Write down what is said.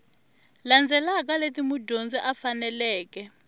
landzelaka leti mudyondzi a faneleke